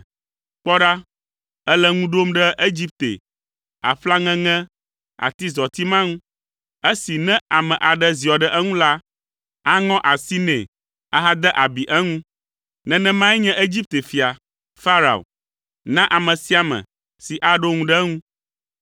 Kpɔ ɖa, èle ŋu ɖom ɖe Egipte, aƒla ŋeŋe, atizɔti ma ŋu. Esi ne ame aɖe ziɔ ɖe eŋu la, aŋɔ asi nɛ ahade abi eŋu. Nenemae nye Egipte fia, Farao, na ame sia ame si aɖo ŋu ɖe eŋu.